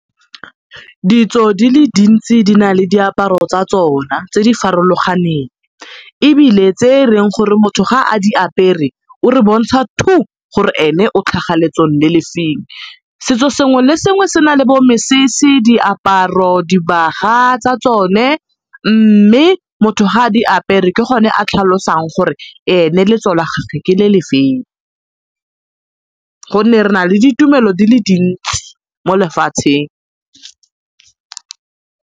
Ditso di le dintsi di na le diaparo tsa tsona tse di farologaneng ebile tse e leng gore motho ga a di apere o re bontsha gore ene o tlhaga letsong le le feng. Setso sengwe le sengwe se na le bo mesese, diaparo, dibaga tsa tsone mme motho ga a di apere ke gone a tlhalosang gore ene letso la gage ke le le feng gonne re na le ditumelo di le dintsi mo lefatsheng.